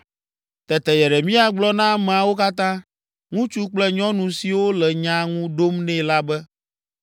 Tete Yeremia gblɔ na ameawo katã, ŋutsu kple nyɔnu siwo le nya ŋu ɖom nɛ la be,